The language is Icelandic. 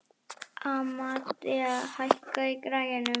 Amadea, hækkaðu í græjunum.